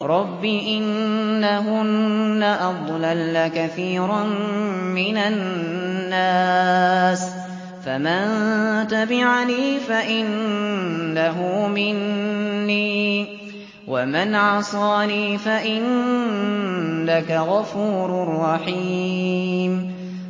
رَبِّ إِنَّهُنَّ أَضْلَلْنَ كَثِيرًا مِّنَ النَّاسِ ۖ فَمَن تَبِعَنِي فَإِنَّهُ مِنِّي ۖ وَمَنْ عَصَانِي فَإِنَّكَ غَفُورٌ رَّحِيمٌ